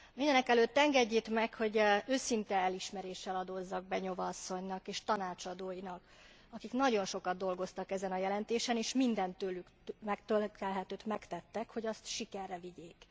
Mindenekelőtt engedjék meg, hogy őszinte elismeréssel adózzak Beňová asszonynak és tanácsadóinak, akik nagyon sokat dolgoztak ezen a jelentésen, és minden tőlük telhetőt megtettek, hogy azt sikerre vigyék.